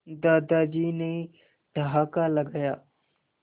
दादाजी ने ठहाका लगाया